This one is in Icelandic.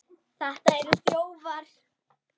Þetta eru þjófar!